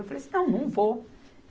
Eu falei assim, não, não vou.